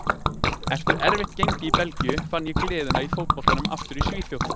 Eftir erfitt gengi í Belgíu fann ég gleðina í fótboltanum aftur í Svíþjóð.